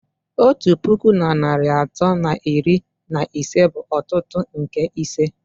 Otu puku na narị atọ na iri na ise bụ otutu nke ise